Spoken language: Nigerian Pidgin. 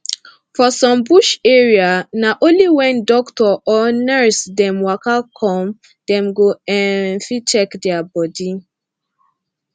for some bush area na only wen doctor or nurse dem waka come dem go um fit check dia bodi